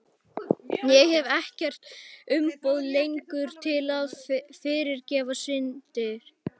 Ég hef ekkert umboð lengur til að fyrirgefa syndir.